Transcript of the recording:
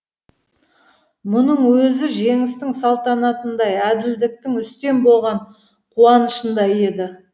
мұның өзі жеңістің салтанатындай әділдіктің үстем болған қуанышындай еді